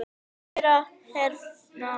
Kæra Hrefna.